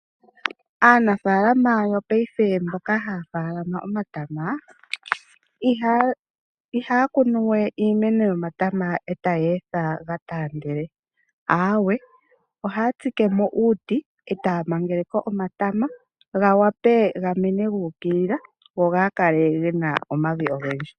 Aanafalama yopaife mboka haya kunu iimeno yomatama ihaya kunu we iimeno yomata etaya etha ga taandele, aawe ohaya tsike mo uuti etaya mangele ko omatama ga wape ga mene guukilila go gaakale gena omavi ogendji.